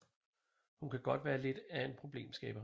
Hun kan godt være lidt af en problemskaber